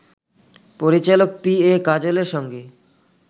পরিচালক P A কাজলের সঙ্গে